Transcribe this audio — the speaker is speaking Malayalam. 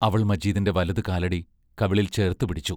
അവൾ മജീദിന്റെ വലതു കാലടി കവിളിൽ ചേർത്തു പിടിച്ചു.